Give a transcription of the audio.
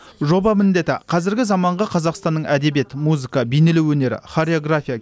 жоба міндеті қазіргі заманғы қазақстанның әдебиет музыка бейнелеу өнері хореография